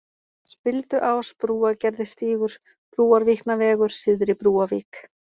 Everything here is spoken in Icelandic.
Spilduás, Brúargerðisstígur, Brúarvíknavegur, Syðri-Brúavík